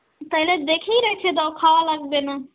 তাইলে দেখেই রেইখে দাও, খাওয়া লাগবে না.